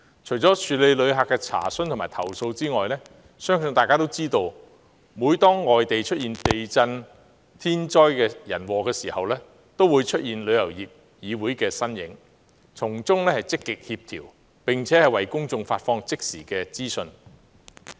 除處理旅客的查詢和投訴外，相信大家也知道，每當外地出現地震等天災人禍時，便會出現旅議會的身影，從中積極協調，並為公眾發放即時資訊。